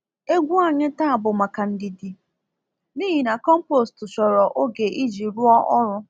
Egwu anyị taa bụ maka ndidi, n'ihi na compost chọrọ oge iji rụọ ọrụ.